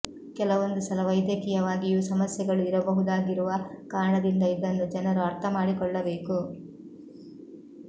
ಕೆಲವೊಂದು ಸಲ ವೈದ್ಯಕೀಯವಾಗಿಯೂ ಸಮಸ್ಯೆಗಳು ಇರಬಹುದಾಗಿರುವ ಕಾರಣದಿಂದ ಇದನ್ನು ಜನರು ಅರ್ಥ ಮಾಡಿಕೊಳ್ಳಬೇಕು